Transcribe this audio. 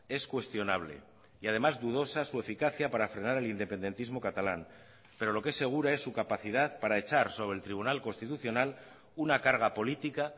es cuestionable y además dudosa su eficacia para frenar el independentismo catalán pero lo que es segura es su capacidad para echar sobre el tribunal constitucional una carga política